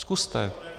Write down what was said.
Zkuste...